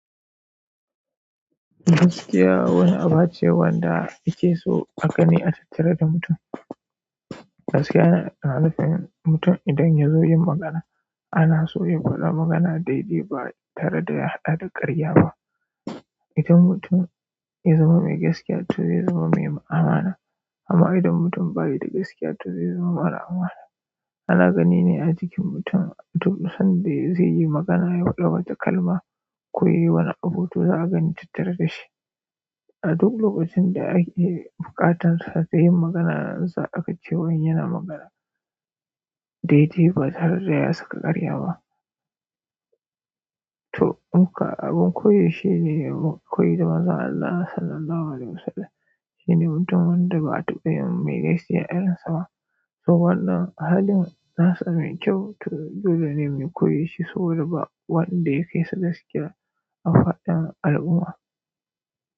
Gaskiya wani aba ce wanda ake so a gani a tatare da mutum. Gaskiya yana na zafi mutum idan ya zo ye magana. Ana so ya faɗa magana daidai ba tare da ya haɗa da karya ba. Idan mutum ya zama mai gaskiya to ya zama mai amana amma idan mutum bayi da gaskiya, to zai zama mara amana. Ana gani ne a jikin mutum, tun sanda zaiyi magana, ya faɗi wata kalma, ko yayi wani abu, to za a gani tattare da shi. A duk lokacin da ake buƙatar sa da yin magana, za a ga cewan yana magana daidai ba tare da ya saka karya ba. To in ka, abun koyi shine mu koyi da Maza Allah Sallallahu Alaihi Wasallam. Shi ne mutum wanda ba a taɓa yin mai gaskiya irinsa ba. So wannan halin nasa mai kyau, to dole ne mu koyi shi saboda ba wanda ya kai sa gaskiya a faɗin al'umma.